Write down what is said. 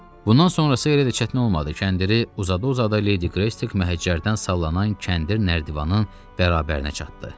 Bundan sonrasısı elə də çətin olmadı, kəndiri uzada-uzada Ledi Qreystik məhəccərdən sallanan kəndir nərdivanın bərabərinə çatdı.